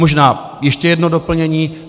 Možná ještě jedno doplnění.